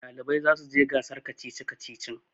ɗalibai za su je gasar kacici-kacicin